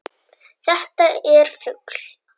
Þetta er fugl.